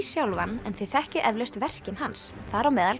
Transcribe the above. sjálfan en þið þekkið eflaust verkin hans þar á meðal